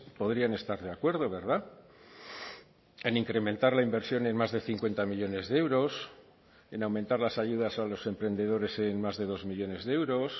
podrían estar de acuerdo verdad en incrementar la inversión en más de cincuenta millónes de euros en aumentar las ayudas a los emprendedores en más de dos millónes de euros